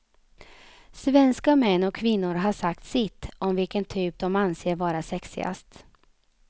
Svenska män och kvinnor har sagt sitt, om vilken typ de anser vara sexigast.